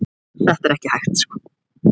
Það er ekki hægt